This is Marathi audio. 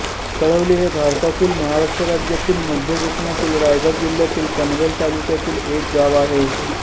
वळवली हे भारतातील महाराष्ट्र राज्यातील मध्य कोकणातील रायगड जिल्ह्यातील पनवेल तालुक्यातील एक गाव आहे